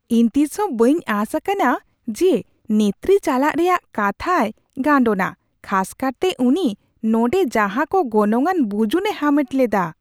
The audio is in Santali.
ᱤᱧ ᱛᱤᱥᱦᱚᱸ ᱵᱟᱹᱧ ᱟᱸᱥ ᱟᱠᱟᱱᱟ ᱡᱮ ᱱᱮᱛᱨᱤ ᱪᱟᱞᱟᱜ ᱨᱮᱭᱟᱜ ᱠᱟᱛᱷᱟᱭ ᱜᱟᱱᱰᱳᱱᱟ, ᱠᱷᱟᱥ ᱠᱟᱨᱛᱮ ᱩᱱᱤ ᱱᱚᱸᱰᱮ ᱡᱟᱦᱟᱸ ᱠᱚ ᱜᱚᱱᱚᱝᱟᱱ ᱵᱩᱡᱩᱱᱮ ᱦᱟᱢᱮᱴ ᱞᱮᱫᱟ ᱾